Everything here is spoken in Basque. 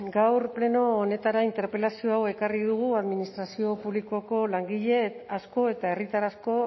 gaur pleno honetara interpelazio hau ekarri dugu administrazio publikoko langile asko eta herritar asko